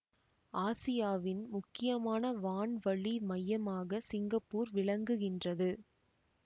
ஆசியாவின் முக்கியமான வான்வழி மையமாக சிங்கப்பூர் விளங்குகின்றது